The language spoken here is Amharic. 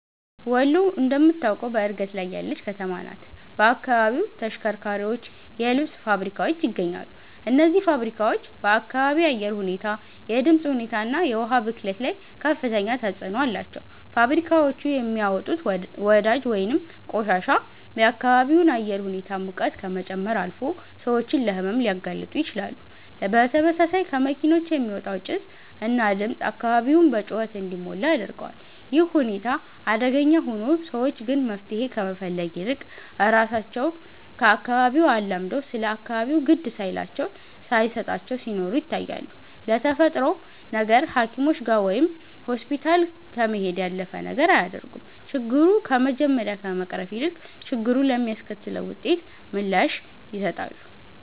ወሎ እንደምታውቀው በእድገት ላይ ያለች ከተማ ናት። በአካባቢው ተሽከርካሪዎች፣ የልብስ ልብስ ፋብሪካዎች ይገኛሉ። እነዚህ ፋብሪካዎች በአካባቢ አየር ሁኔታ፣ የድምፅ ሁኔታ እና የውሃ ብክለት ላይ ከፍተኛ ተጽዕኖ አላቸው። ፋብሪካዎቹ የሚያወጡት ወዳጅ ወይንም ቆሻሻ የአካባቢውን አየር ሁኔታ ሙቀት ከመጨመር አልፎ ሰዎችን ለሕመም ሊያጋልጡ ይችላሉ። በተመሳሳይ ከመኪኖች የሚወጣው ጭስ እና ድምፅ አካባቢውን በጩኸት እንዲሞላ ያደርገዋል። ይህ ሁኔታ አደገኛ ሆኖ፣ ሰዎች ግን መፍትሄ ከመፈለግ ይልቅ ራሳቸው ከአካባቢው አላምደው ስለ አካባቢው ግድ ሳይላቸው ሳየሰጣቸው ሲኖሩ ይታያሉ። ለተፈጠረው ነገር ሃኪሞችጋ ወይም ሆስፒታል ከመሄድ ያለፈ ነገር አያደርጉም። ችግሩ ከመጀመሪያ ከመቅረፍ ይልቅ፣ ችግሩ ለሚያስከትለው ውጤት ምላሽ ይሰጣሉ